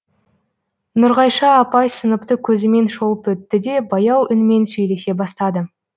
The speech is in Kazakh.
нұрғайша апай сыныпты көзімен шолып өтті де баяу үнмен сөйлесе бастады